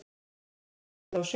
Ekki hef ég látið á sjá.